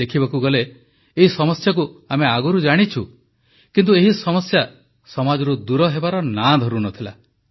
ଦେଖିବାକୁ ଗଲେ ଏହି ସମସ୍ୟାକୁ ଆମେ ଆଗରୁ ଜାଣିଛୁ କିନ୍ତୁ ଏହି ସମସ୍ୟା ସମାଜରୁ ଦୂର ହେବାର ନାଁ ଧରୁ ନ ଥିଲା